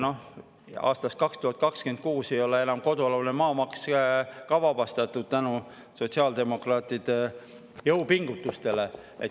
Aastast 2026 ei ole enam kodualune maa ka maksust vabastatud tänu sotsiaaldemokraatide jõupingutustele.